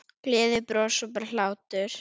Gleði, bros og bara hlátur.